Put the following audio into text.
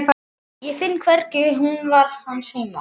Ég finn hvernig hún var hans heima.